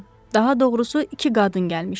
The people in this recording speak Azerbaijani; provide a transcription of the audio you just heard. Daha doğrusu iki qadın gəlmişdi.